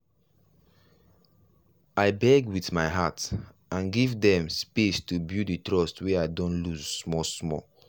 i beg with my heart and give dem space to build the trust wey i don loose small small.